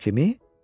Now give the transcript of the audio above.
Kimi?